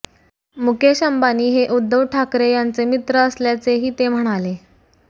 मुकेश अंबानी हे उद्धव ठाकरे यांचे मित्र असल्याचेही ते म्हणाले